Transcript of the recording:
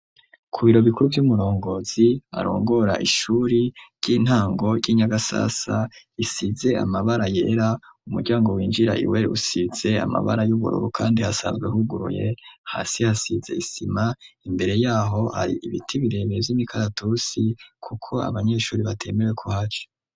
Ku biro bikuru vy'umurongozi arongora ishuri ry'intango ry'inyagasasa isize amabara yera umuryango winjira iweli usize amabara y'ubururu, kandi hasanzwe huguruye hasi hasize isima imbere yaho ari ibiti bireme vy'mikaratusi, kuko abanyeshuri batemewe ku haca.